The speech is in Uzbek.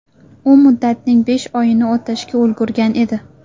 U muddatning besh oyini o‘tashga ulgurgan edi.